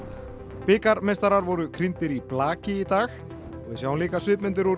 bikarmeistarar voru í blaki í dag og við sjáum líka svipmyndir úr